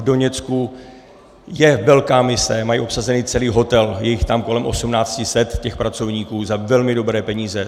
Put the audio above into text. V Doněcku je velká mise, mají obsazený celý hotel, je jich tam kolem 1 800, těch pracovníků, za velmi dobré peníze.